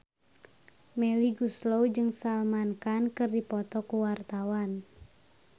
Melly Goeslaw jeung Salman Khan keur dipoto ku wartawan